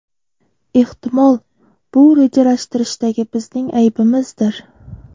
Ehtimol, bu rejalashtirishdagi bizning aybimizdir.